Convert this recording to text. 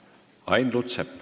Ain Lutsepp.